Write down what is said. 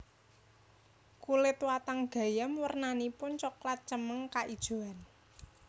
Kulit watang gayam wernanipun cokelat cemeng kaijoan